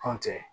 Anw tɛ